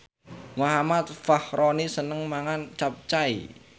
Muhammad Fachroni seneng mangan capcay